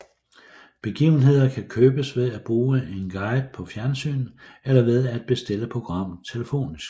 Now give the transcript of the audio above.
Begivenheder kan købes ved at bruge en guide på fjernsynet eller ved at bestille programmet telefonisk